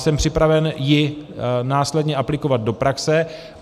Jsem připraven ji následně aplikovat do praxe.